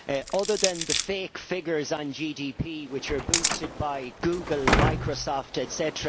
Other than the fake figures on GDP which are boosted by Google and Microsoft, etc.,